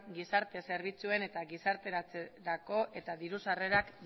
gizarte zerbitzuen eta gizarterako eta diru sarrerak